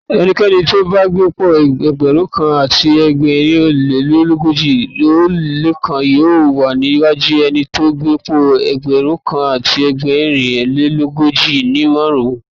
Ẹnikẹ́ni tóbá gbé'pò Ẹgbẹ̀rúnkan àti ẹgbẹ̀rin ólé l'ógójì ó lékan yóò wà níwájú ẹnitó gbé'pò ẹgbẹ̀rúnkan àti ẹgbẹ̀rin lélógójìdín márùn-ún.